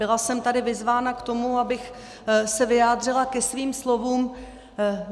Byla jsem tady vyzvána k tomu, abych se vyjádřila ke svým slovům.